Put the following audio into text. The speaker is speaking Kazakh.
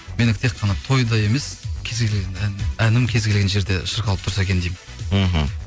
менікі тек қана тойда емес әнім кез келген жерде шырқалып тұрса екен деймін мхм